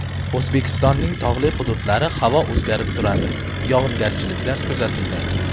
O‘zbekistonning tog‘li hududlari Havo o‘zgarib turadi, yog‘ingarchiliklar kuzatilmaydi.